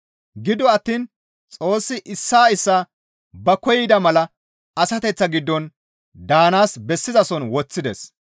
Gido attiin Xoossi issaa issaa ba koyida mala asateththaa giddon daanaas bessizason woththides.